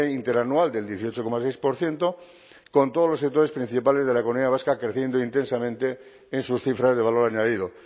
interanual del dieciocho coma seis por ciento con todos los sectores principales de la economía vasca creciendo intensamente en sus cifras de valor añadido